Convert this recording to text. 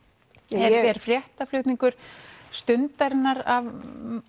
er fréttaflutningur Stundarinnar af